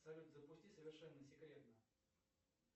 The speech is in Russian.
салют запусти совершенно секретно